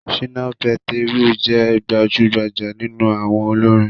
Ṣìnà Pétérù jẹ́ gbajúgbajà nínú àwọn olórin